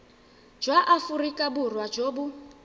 jwa aforika borwa jo bo